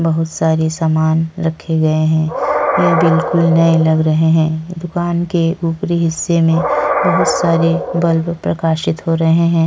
बहोत सारे सामान रखे गये हैं। यह बिलकुल नये लग रहे हैं। दुकान के ऊपरी हिस्से में बहोत सारे बल्ब प्रकाशित हो रहे हैं।